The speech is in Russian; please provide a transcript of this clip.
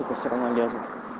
всё равно лезут